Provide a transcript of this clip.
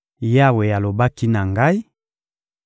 Yawe alobaki na ngai: